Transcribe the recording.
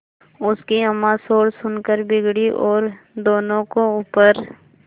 उनकी अम्मां शोर सुनकर बिगड़ी और दोनों को ऊपर